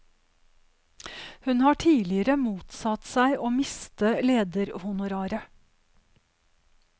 Hun har tidligere motsatt seg å miste lederhonoraret.